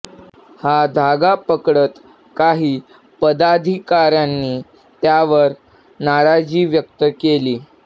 हा धागा पकडत काही पदाधिकार्यांनी त्यावर नाराजी व्यक्त केली